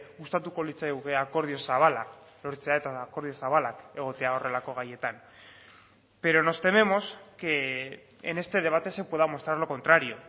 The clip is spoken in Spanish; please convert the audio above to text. gustatuko litzaiguke akordio zabala lortzea eta akordio zabalak egotea horrelako gaietan pero nos tememos que en este debate se pueda mostrar lo contrario